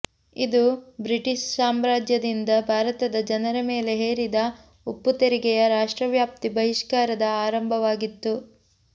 ಇದು ಬ್ರಿಟಿಷ್ ಸಾಮ್ರಾಜ್ಯದಿಂದ ಭಾರತದ ಜನರ ಮೇಲೆ ಹೇರಿದ ಉಪ್ಪು ತೆರಿಗೆಯ ರಾಷ್ಟ್ರವ್ಯಾಪಿ ಬಹಿಷ್ಕಾರದ ಆರಂಭವಾಗಿತ್ತು